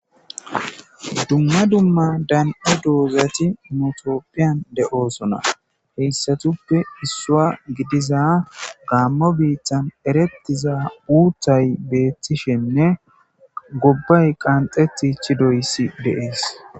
dumma dumma dan7a doozati motopphiyan de7oosona heyssatuppe issua gidiza gaammo biittan erettiza uuthay beetishenne gobbay qanxeti chi doyssi deees